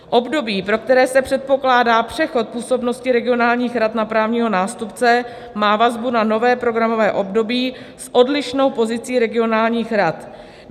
Období, pro které se předpokládá přechod působnosti regionálních rad na právního nástupce, má vazbu na nové programové období s odlišnou pozicí regionálních rad.